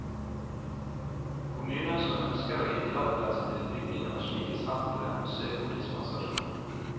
Kommuner som ønsker å gi tillatelse til bygging av slike sentre, må søke om dispensasjon.